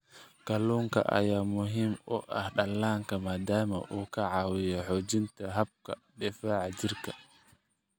Kalluunka ayaa muhiim u ah dhallaanka maadaama uu ka caawiyo xoojinta habka difaaca jirka.